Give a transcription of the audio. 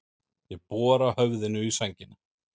Ég bora höfðinu í sængina.